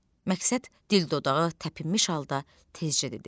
Məqsəd dil-dodağı təpinmiş halda tezcə dedi.